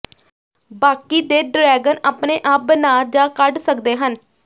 ਬਾਕੀ ਦੇ ਡਰੈਗਨ ਆਪਣੇ ਆਪ ਬਣਾ ਜਾਂ ਕੱਢ ਸਕਦੇ ਹਨ